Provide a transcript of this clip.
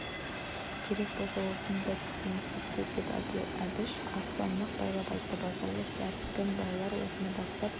керек болса соны да істеңіз тіпті деп әбіш аса нық байлап айтты базаралы дәркем-байлар соны бастап